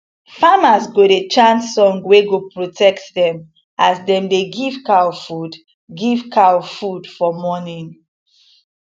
famers go dey chant song wey go protect them as dem dey give cow food give cow food for morning